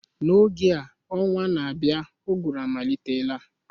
N'oge a ọnwa na-abịa uguru amalitela